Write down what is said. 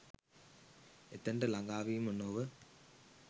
එතැනට ළඟාවීම නොව